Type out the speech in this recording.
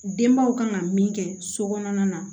Denbaw kan ka min kɛ so kɔnɔna na